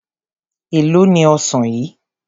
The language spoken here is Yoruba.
Èló ni ọsàn yìí?